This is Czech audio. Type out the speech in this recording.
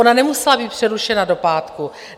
Ona nemusela být přerušena do pátku.